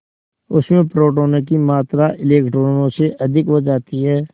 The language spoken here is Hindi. उसमें प्रोटोनों की मात्रा इलेक्ट्रॉनों से अधिक हो जाती है